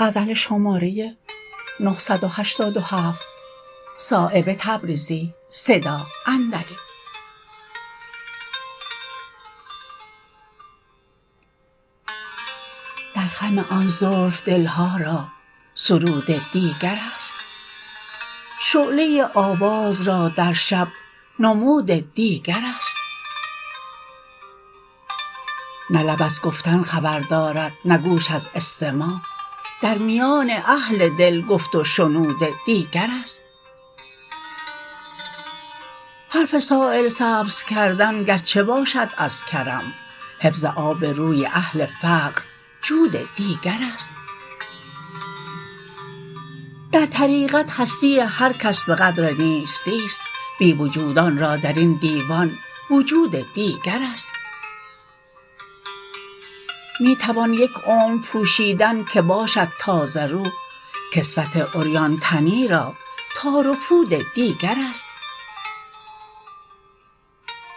در خم آن زلف دلها را سرود دیگرست شعله آواز را در شب نمود دیگرست نه لب از گفتن خبر دارد نه گوش از استماع در میان اهل دل گفت و شنود دیگرست حرف سایل سبز کردن گرچه باشد از کرم حفظ آب روی اهل فقر جود دیگرست در طریقت هستی هر کس به قدر نیستی است بی وجودان را درین دیوان وجود دیگرست می توان یک عمر پوشیدن که باشد تازه رو کسوت عریان تنی را تار و پود دیگرست